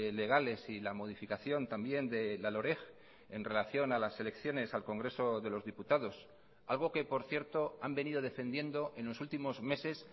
legales y la modificación también de la loreg en relación a las elecciones al congreso de los diputados algo que por cierto han venido defendiendo en los últimos meses